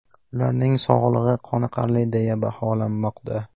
Ularning sog‘lig‘i qoniqarli deya baholanmoqda.